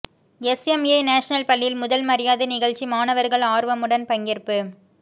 SMA national பள்ளியில் முதல் மரியாதை நிகழ்ச்சி மாணவர்கள் ஆர்வமுடன் பங்கேற்பு